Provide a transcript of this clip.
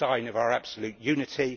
It is a sign of our absolute unity.